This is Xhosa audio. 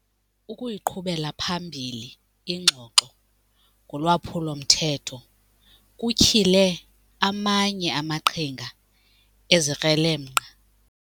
Ukuyiqhubela phambili ingxoxo ngolwaphulo-mthetho kutyhile amanye amaqhinga ezikrelemnqa.